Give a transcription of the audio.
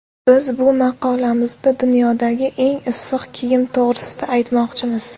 Biz bu maqolamizda dunyodagi eng issiq kiyim to‘g‘risida aytmoqchimiz.